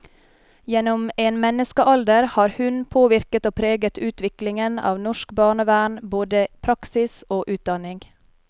Gjennom en menneskealder har hun påvirket og preget utviklingen av norsk barnevern, både praksis og utdanning.